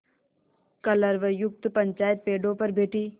कलरवयुक्त पंचायत पेड़ों पर बैठी